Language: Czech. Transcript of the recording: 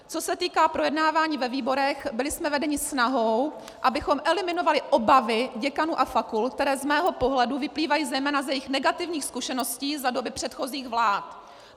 Co se týká projednávání ve výborech, byli jsme vedeni snahou, abychom eliminovali obavy děkanů a fakult, které z mého pohledu vyplývají zejména z jejich negativních zkušeností za doby předchozích vlád.